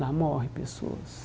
Lá morre pessoas.